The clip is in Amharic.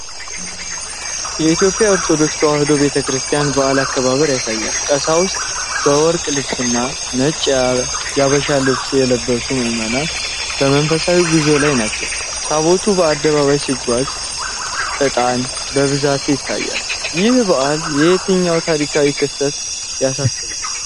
የኢትዮጵያ ኦርቶዶክስ ተዋሕዶ ቤተ ክርስቲያን በዓል አከባበርን ያሳያል። ቀሳውስት በወርቅ ልብስና ነጭ የአበሻ ልብስ የለበሱ ምዕመናን በመንፈሳዊ ጉዞ ላይ ናቸው። ታቦቱ በአደባባይ ሲጓዝ ዕጣን በብዛት ይታያል። ይህ በዓል የትኛውን ታሪካዊ ክስተት ያሳስባል?